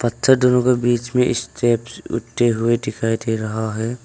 पत्थर दोनों के बीच में स्टेप्स होते हुए दिखाई दे रहा है।